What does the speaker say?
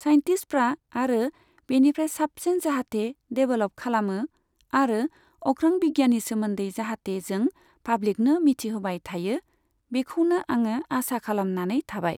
साइनटिष्टफ्रा आरो बेनिफ्राय साबसिन जाहाथे देभेलप खालामो आरो अख्रां बिज्ञाननि सोमोन्दै जाहाथे जों पाब्लिकनो मिथिहोबाय थायो, बेखौनो आङो आसा खालामनानै थाबाय।